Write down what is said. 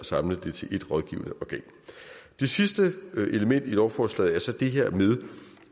samle det til ét rådgivende organ det sidste element i lovforslaget er så det her med